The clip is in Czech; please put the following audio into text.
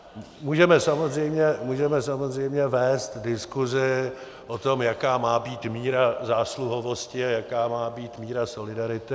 Můžeme samozřejmě vést diskusi o tom, jaká má být míra zásluhovosti a jaká má být míra solidarity.